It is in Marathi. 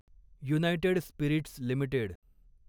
United Spirits limited